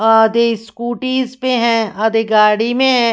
आधे स्कूटी ज पे हैं आधे गाड़ी मेंह--